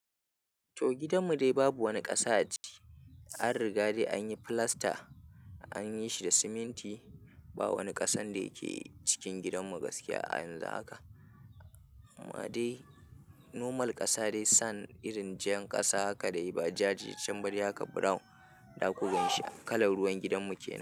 To gidanmu dai babu wani ƙasa a ciki. An riga da an yi filasta, an yi shi da siminti. Ba wani ƙasan da yake cikin gidanmu gaskiya a yanzu haka. Amma dai normal ƙasa dai sand irin jan ƙasa haka dai ba ja ja, can haka brown. Zaku gan shi kalar ruwan gidanmu ke nan.